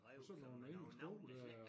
Sådan nogen engelske ord dér